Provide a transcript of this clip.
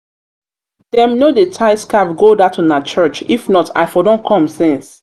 dem no dey tie scarf go dat una church if not i for don come since.